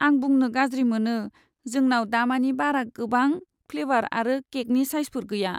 आं बुंनो गाज्रि मोनो, जोंनाव दामानि बारा गोबां फ्लेवार आरो केकनि साइजफोर गैया।